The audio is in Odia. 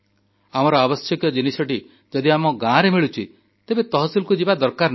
ଆମର ଆବଶ୍ୟକ ଜିନିଷଟି ଯଦି ଆମ ଗାଁରେ ମିଳୁଛି ତେବେ ତହସିଲକୁ ଯିବା ଦରକାର ନାହିଁ